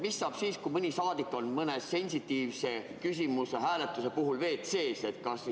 Mis saab siis, kui mõni saadik on mõne sensitiivse küsimuse hääletuse ajal WC‑s?